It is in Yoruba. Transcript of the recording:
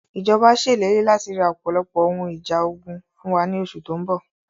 Ìjọba ṣe ìlérí láti ra ọpọlọpọ ohun ìjà ogun fún wa ní oṣù tóun bọ̀